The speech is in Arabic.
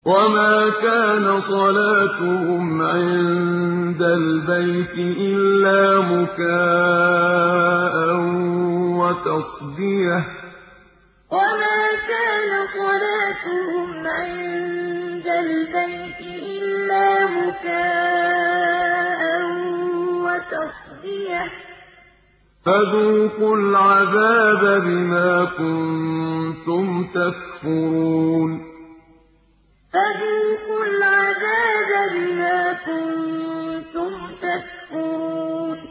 وَمَا كَانَ صَلَاتُهُمْ عِندَ الْبَيْتِ إِلَّا مُكَاءً وَتَصْدِيَةً ۚ فَذُوقُوا الْعَذَابَ بِمَا كُنتُمْ تَكْفُرُونَ وَمَا كَانَ صَلَاتُهُمْ عِندَ الْبَيْتِ إِلَّا مُكَاءً وَتَصْدِيَةً ۚ فَذُوقُوا الْعَذَابَ بِمَا كُنتُمْ تَكْفُرُونَ